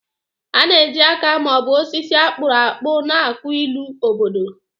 A na-eji aka ma ọ bụ osisi a kpụrụ akpụ na-akụ ilu obodo.